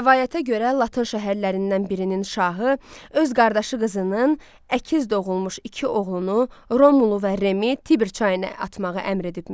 Rəvayətə görə Latin şəhərlərindən birinin şahı öz qardaşı qızının əkiz doğulmuş iki oğlunu Romulu və Remi Tiber çayına atmağı əmr edibmiş.